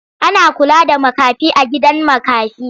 Ana kula da makafi a gidan makafi.